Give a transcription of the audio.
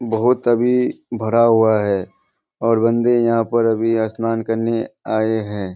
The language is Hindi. बहुत अभी भरा हुआ है और बन्दे यहाँ पर अभी स्नान करने आये हैं।